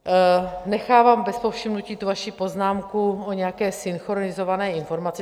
Nechávám bez povšimnutí tu vaši poznámku o nějaké synchronizované informaci.